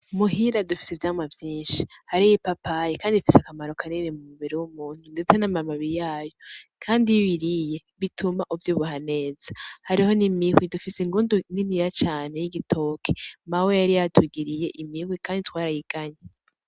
Muhira dufise ivyamwa vyinshi, hariho ipapayi kandi zifise akamaro kanini mu mubiri w'umuntu, ndetse n'amababi yayo kandi iyo uyiriye bituma uvyibuha neza. Hariho n'imihwi, dufise ingundu miniya cane y'igitoki mawe yari yatugiriye imihwi kandi twarayiganye.